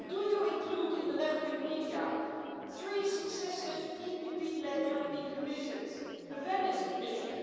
Do you include in the left wing media three successive EPP led European Commissions? The Venice Commission?